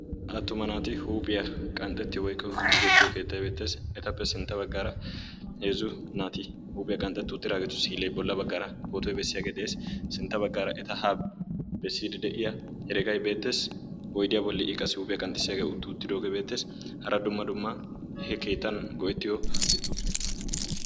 Attuma naati huuphiyaa qanxxetiyo wotkko giigeriyo keettay beettees. Etappe sintta baggara heezzu naati huuphiyaa qanxxetri uttidaageeti bolla baggaara pootoy bessiyaage de'ees. Sintta baggaara eta ha besside de'iyaa heregay beettees. Oyddiya bolli I qassi huuphiyaa qanxxissiyaage utti uttidoogee beettees. Hara Dumma dumma he keettan go"etiyoobati beettoosona.